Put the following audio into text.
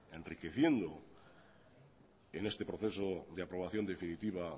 enriqueciendo en este proceso de aprobación definitiva